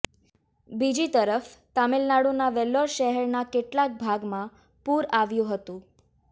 બીજી તરફ તામિલનાડુના વેલ્લોર શહેરના કેટલાક ભાગમાં પૂર આવ્યું હતું